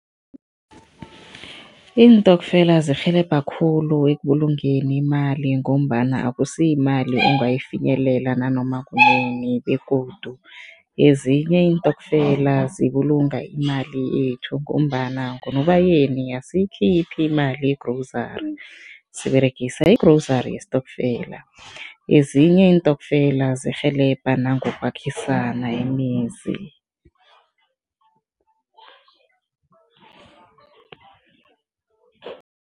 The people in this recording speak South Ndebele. Iintokfela zirhelebha khulu ekubulungeni imali ngombana akusiyimali ongayifinyelela nanoma kunini begodu ezinye iintokfela zibulunga imali yethu ngombana ngoNobayeni asiyikhiphi imali yegrozari, siberegisa igrozari yesitokfela. Ezinye iintokfela zirhelebha nangokwakhisana imizi.